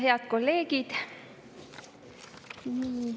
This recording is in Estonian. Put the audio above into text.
Head kolleegid!